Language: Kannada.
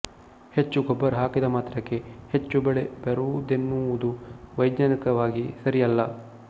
ಹೆಚ್ಚು ಗೊಬ್ಬರ ಹಾಕಿದ ಮಾತ್ರಕ್ಕೆ ಹೆಚ್ಚು ಬೆಳೆ ಬರುವುದೆನ್ನುವುದೂ ವೈಜ್ಞಾನಿಕವಾಗಿ ಸರಿಯಲ್ಲ